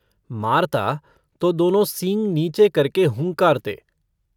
मारता तो दोनों सींग नीचे करके हुँकारते।